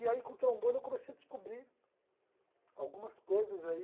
E aí com o trombone eu comecei a descobrir algumas coisas aí